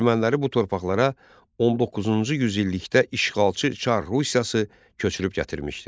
Erməniləri bu torpaqlara 19-cu yüzillikdə işğalçı Çar Rusiyası köçürüb gətirmişdi.